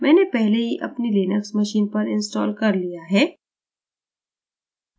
मैंने पहले ही अपनी linux machine पर installation कर लिया है